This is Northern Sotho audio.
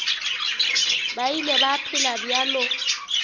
ba ile ba phela bjalo